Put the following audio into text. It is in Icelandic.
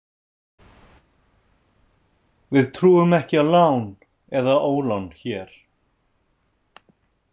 Við trúum ekki á lán eða ólán hér.